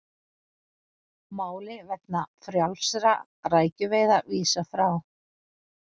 Máli vegna frjálsra rækjuveiða vísað frá